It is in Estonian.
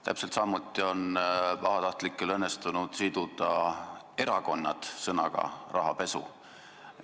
Täpselt samuti on pahatahtlikel inimestel õnnestunud siduda erakonnad sõnaga "rahapesu".